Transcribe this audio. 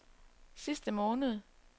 sidste måned